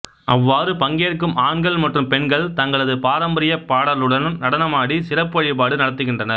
அவ்வாறு பங்கேற்கும் ஆண்கள் மற்றும் பெண்கள் தங்களது பாரம்பரிய பாடலுடன் நடனமாடி சிறப்பு வழிபாடு நடத்துகின்றனர்